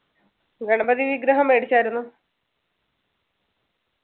ഗണപതി വിഗ്രഹം മേടിച്ചായിരുന്നു